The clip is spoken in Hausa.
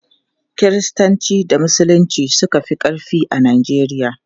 Kiristanci da Musulunci suka fi ƙarfi a Najeriya.